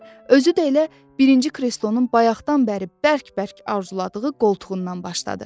Özü də elə birinci kreslonun bayaqdan bəri bərk-bərk arzuladığı qoltuğundan başladı.